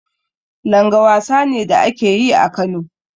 Langa wasa ne da ake yi a Kano.